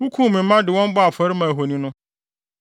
Wukum me mma de wɔn bɔɔ afɔre maa ahoni no.